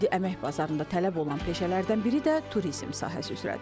İndi əmək bazarında tələb olunan peşələrdən biri də turizm sahəsi üzrədir.